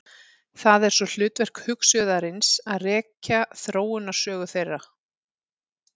Það er svo hlutverk hugsuðarins að rekja þróunarsögu þeirra.